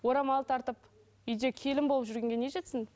орамал тартып үйде келін болып жүргенге не жетсін